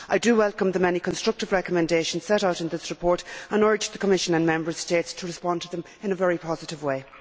I welcome the many constructive recommendations set out in this report and urge the Commission and Member States to respond to them in a very positive way.